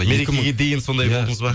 мерекеге дейін сондай болдыңыз ба